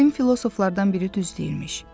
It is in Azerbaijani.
Qədim filosoflardan biri düz deyirmiş.